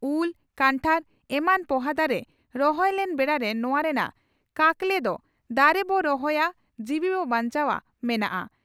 ᱩᱞ ᱠᱷᱟᱱᱴᱟᱲ ᱮᱢᱟᱱ ᱯᱚᱦᱟ ᱫᱟᱨᱮ ᱨᱚᱦᱚᱭ ᱞᱮᱱ ᱵᱮᱲᱟᱨᱮ ᱱᱚᱣᱟ ᱨᱮᱱᱟᱜ ᱠᱟᱠᱞᱮ ᱫᱚ "ᱫᱟᱨᱮ ᱵᱚ ᱨᱚᱦᱚᱭᱟ ᱡᱤᱣᱤ ᱵᱚ ᱵᱟᱧᱪᱟᱣᱜᱼᱟ" ᱢᱮᱱᱟᱜᱼᱟ ᱾